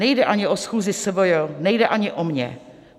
Nejde ani o schůzi SVJ, nejde ani o mě.